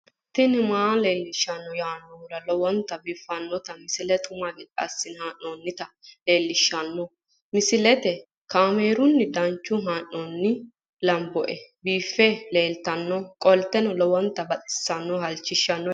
tini maa leelishshanno yaannohura lowonta biiffanota misile xuma gede assine haa'noonnita leellishshanno misileeti kaameru danchunni haa'noonni lamboe biiffe leeeltannoqolten lowonta baxissannoe halchishshanno yaate